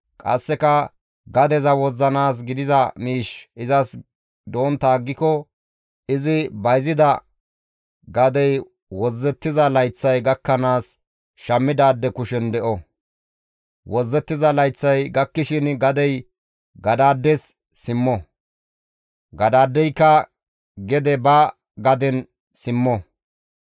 Qasseka gadeza wozzanaas gidiza miishshi izas dontta aggiko izi bayzida gadey wozzettiza layththay gakkanaas shammidaade kushen de7o; wozzettiza layththay gakkishin gadey gadaades simmo; gadaadeyka gede ba gaden simmo.